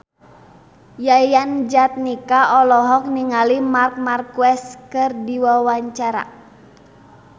Yayan Jatnika olohok ningali Marc Marquez keur diwawancara